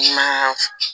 Ma